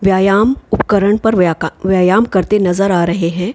व्यायाम उपकरण पर व्याका व्यायाम करते नज़र आ रहे है।